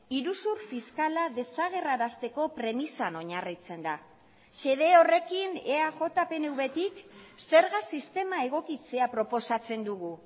iruzur fiskala desagerrarazteko premisan oinarritzen da xede horrekin eaj pnvtik zerga sistema egokitzea proposatzen dugu